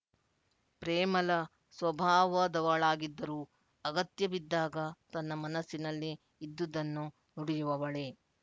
ಪ್ರೇಮಲ ಸ್ವಭಾವದವಳಾಗಿದ್ದರೂ ಅಗತ್ಯ ಬಿದ್ದಾಗ ತನ್ನ ಮನಸ್ಸಿನಲ್ಲಿ ಇದ್ದುದನ್ನು ನುಡಿಯುವವಳೇ